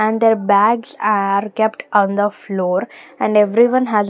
And their bags are kept on the floor and everyone has --